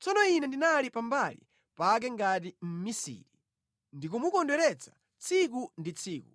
Tsono ine ndinali pambali pake ngati mmisiri; ndikumukondweretsa tsiku ndi tsiku,